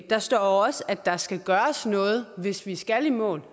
der står også at der skal gøres noget hvis vi skal i mål